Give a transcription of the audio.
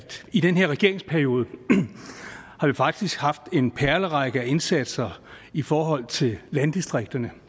i den her regeringsperiode har vi faktisk haft en perlerække af indsatser i forhold til landdistrikterne